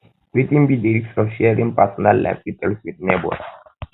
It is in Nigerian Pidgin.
wetin be di risks of sharing personal life details with neighbors